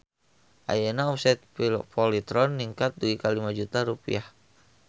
Ayeuna omset Polytron ningkat dugi ka 5 juta rupiah